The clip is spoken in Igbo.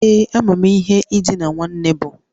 Ee. Amam ihe idina nwoke bu